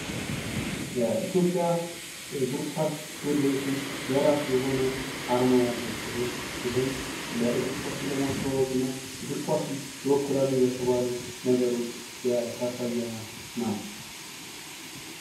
የኢትዮጵያ እግር ኳስ ፌዴሬሽን የራሱ የሆነ አርማ ያለው ሲሆን ይህም ስለ እግር ኳሱ ለማስተዋወቅ እና እግር ኳሱን ይወክላሉ በተባሉ ነገሮች የተሰየመ ነው።